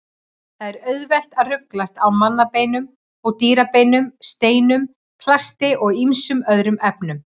Það er auðvelt að ruglast á mannabeinum og dýrabeinum, steinum, plasti og ýmsum öðrum efnum.